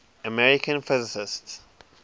american physicists